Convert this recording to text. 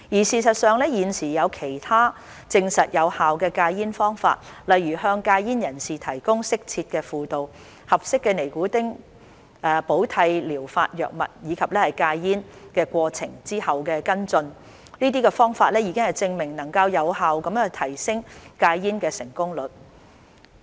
事實上，現時已有其他實證有效的戒煙方法，例如，向戒煙人士提供適切的輔導，合適的尼古丁替補療法藥物，以及戒煙過程跟進，這些方法已證明能有效提升戒煙的成功率。